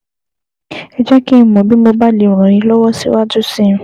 Ẹ jẹ́ kí n mọ̀ bí mo bá lè ràn yín lọ́wọ́ síwájú sí i